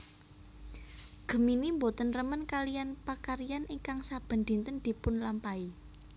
Gemini boten remen kaliyan pakaryan ingkang saben dinten dipunlampahi